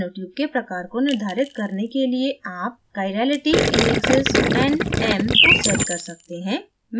nanotube के प्रकार को निर्धारित करने के लिए आप chirality indexes n m को set कर सकते हैं